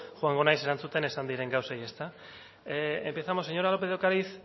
joango naiz erantzuten esan diren gauzei ezta empezamos señora lópez de ocariz